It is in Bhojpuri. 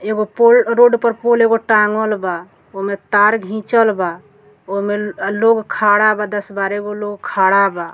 एगो पोल रोड पर पोल एगो टाँगल बा। ओ में तार घिंचल बा। ओ में लोग खड़ा बा दस बारह गो लोग खड़ा बा।